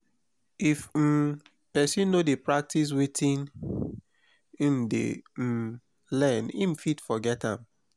if um persin no de practice wetin im de um learn im fit forget am